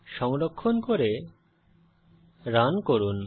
সংরক্ষণ করে রান করুন